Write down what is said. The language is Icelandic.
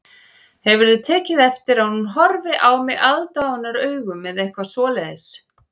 Hefurðu tekið eftir að hún horfi á mig aðdáunaraugum eða eitthvað svoleiðis